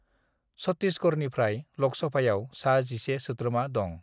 छत्तीसगढ़निफ्राय लोकसभायाव सा 11 सोद्रोमा दं।